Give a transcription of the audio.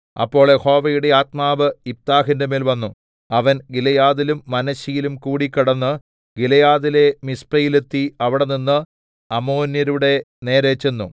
അപ്പോൾ യഹോവയുടെ ആത്മാവ് യിഫ്താഹിന്റെ മേൽ വന്നു അവൻ ഗിലെയാദിലും മനശ്ശെയിലും കൂടി കടന്ന് ഗിലെയാദിലെ മിസ്പയിൽ എത്തി അവിടെനിന്ന് അമ്മോന്യരുടെ നേരെ ചെന്നു